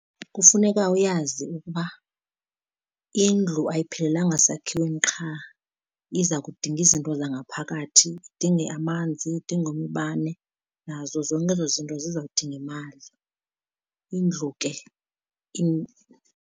Kufuneka uyazi ukuba indlu ayiphelelanga sakhiweni qha iza kudinga izinto zangaphakathi, idinge amanzi, idinge umbane nazo zonke ezo zinto zizawudinga imali, indlu ke .